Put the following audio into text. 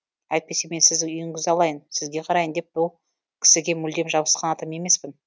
әйтпесе мен сіздің үйіңізді алайын сізге қарайын деп бұл кісіге мүлдем жабысқан адам емеспін